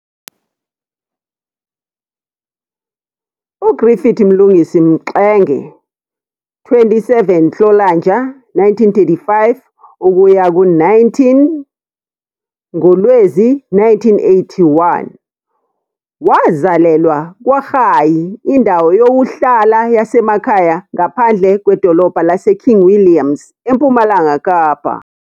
UGriffiths Mlungisi Mxenge, 27 Nhlolanja 1935 - 19 ngoLwezi 1981, wazalelwa KwaRayi, indawo yokuhlala yasemakhaya ngaphandle kwedolobha laseKing Williams, eMpumalanga Kapa.